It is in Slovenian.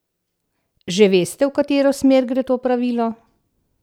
Že veste, v katero smer gre to pravilo?